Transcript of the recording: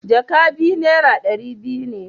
jaka biyu naira dari biyu ne.